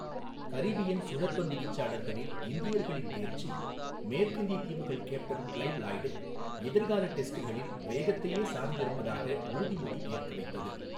Caribbean சுழற்பந்து வீச்சாளர்களில் இந்தியர்களின் தேர்ச்சி மேற்கிந்திய தீவுகள் கேப்டன் கிளைவ் லாயிட்டை எதிர்கால டெஸ்ட்டுகளில் வேகத்தையே சார்ந்திருப்பதாக உறுதிமொழி ஏற்க வைத்தது.